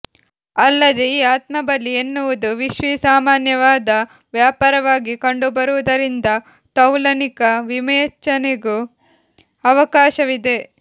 ಅಲ್ಲದೆ ಈ ಆತ್ಮಬಲಿ ಎನ್ನುವುದು ವಿಶ್ವಿಸಾಮಾನ್ಯವಾದ ವ್ಯಾಪಾರವಾಗಿ ಕಂಡುಬರುವುದರಿಂದ ತೌಲನಿಕ ವಿವೇಚನೆಗೂ ಅವಕಾಶವಿದೆ